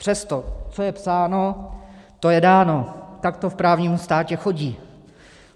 Přesto co je psáno, to je dáno, tak to v právním státě chodí.